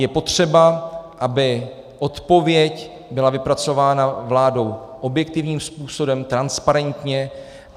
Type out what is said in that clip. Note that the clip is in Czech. Je potřeba, aby odpověď byla vypracována vládou objektivním způsobem, transparentně.